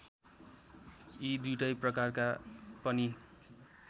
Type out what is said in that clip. यी दुईटै प्रकारका पनि